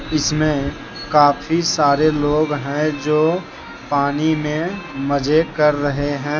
जिसमें काफी सारे लोग हैं जो पानी में मजे कर रहे हैं।